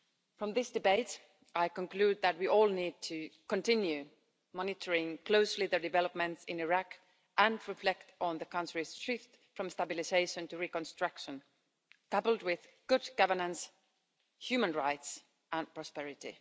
From this debate, I conclude that we all need to continue monitoring closely the developments in Iraq and reflect on the country's shift from stabilisation to reconstruction, coupled with good governance, human rights and prosperity.